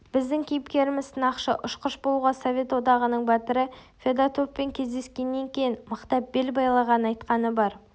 біздің кейіпкеріміз сынақшы-ұшқыш болуға совет одағының батыры федотовпен кездескеннен кейін мықтап бел байлағанын айтқаны бар